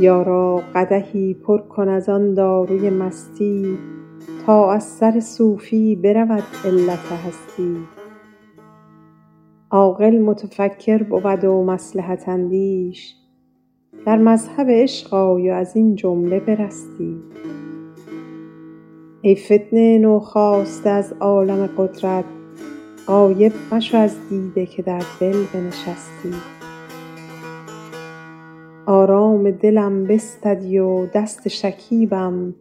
یارا قدحی پر کن از آن داروی مستی تا از سر صوفی برود علت هستی عاقل متفکر بود و مصلحت اندیش در مذهب عشق آی و از این جمله برستی ای فتنه نوخاسته از عالم قدرت غایب مشو از دیده که در دل بنشستی آرام دلم بستدی و دست شکیبم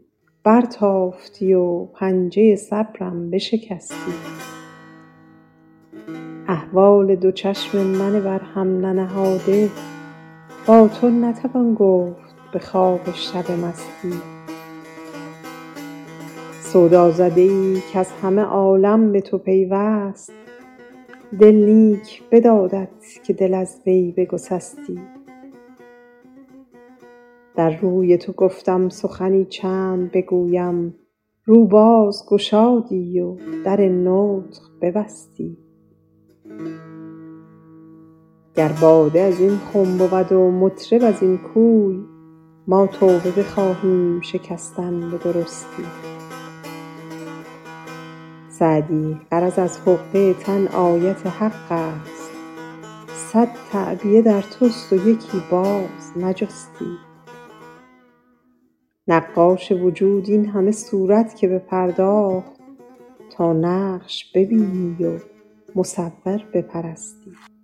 برتافتی و پنجه صبرم بشکستی احوال دو چشم من بر هم ننهاده با تو نتوان گفت به خواب شب مستی سودازده ای کز همه عالم به تو پیوست دل نیک بدادت که دل از وی بگسستی در روی تو گفتم سخنی چند بگویم رو باز گشادی و در نطق ببستی گر باده از این خم بود و مطرب از این کوی ما توبه بخواهیم شکستن به درستی سعدی غرض از حقه تن آیت حق است صد تعبیه در توست و یکی باز نجستی نقاش وجود این همه صورت که بپرداخت تا نقش ببینی و مصور بپرستی